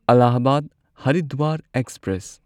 Allahabad Haridwar express